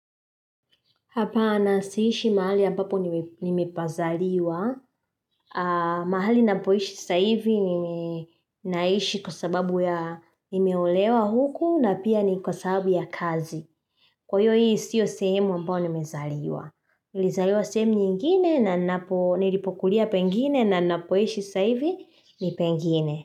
Hapana siishi mahali ambapo nimepazaliwa. Mahali napoishi sasa hivi ninaishi kwa sababu ya nimeolewa huku na pia ni kwa sababu ya kazi. Kwa hiyo hii sio sehemu ambao nimezaliwa. Nilizaliwa sehemu nyingine na nilipokulia pengine na napoishi sasa hivi ni pengine.